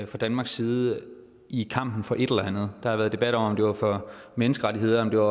fra danmarks side i kampen for et eller andet der har været debat om om det var for menneskerettigheder når